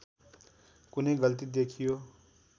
कुनै गल्ती देखियो